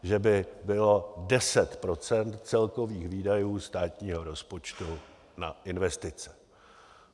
Že by bylo 10 % celkových výdajů státního rozpočtu na investice.